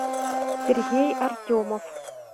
сергей артемов